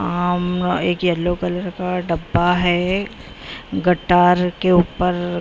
उम्म अ एक yellow colour का डब्बा है गटार के ऊपर क्री--